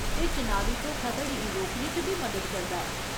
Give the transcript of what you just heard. ते चुनावी धोखाधड़ी गी रोकने च बी मदद करदा ऐ।